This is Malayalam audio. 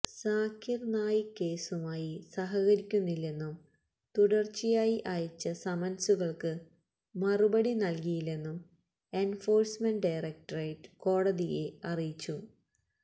സാക്കിർ നായിക് കേസുമായി സഹകരിക്കുന്നില്ലെന്നും തുടർച്ചയായി അയച്ച സമൻസുകൾക്ക് മറുപടി നൽകിയില്ലെന്നും എൻഫോഴ്സ്മെന്റ് ഡയറക്ടറേറ്റ് കോടതിയെ അറിയിച്ചു